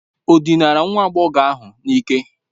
Ọ dinara nwa agbọghọ ahụ n'ike?